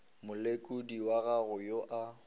molekodi wa gago yo a